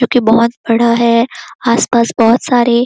जो की बहुत बड़ा है आस-पास बहुत सारे--